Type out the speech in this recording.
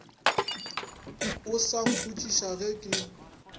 o sa mpotšiša ge ke